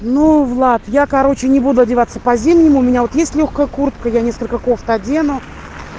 ну влад я короче не буду одеваться по-зимнему у меня вот есть лёгкая куртка я несколько кофт одену